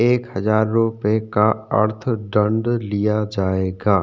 एक हजार रुपये का अर्थ दंड लिया जायेगा।